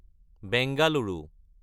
Bengaluru